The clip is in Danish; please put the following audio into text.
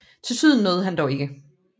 Til syden nåede han dog ikke